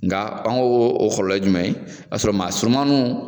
Nga an ko o kɔlɔlɔ ye jumɛn ye i b'a sɔrɔ maa surunmanninw